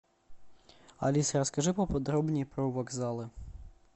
алиса расскажи поподробнее про вокзалы